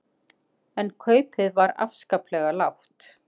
En kaupið var afskaplega lágt.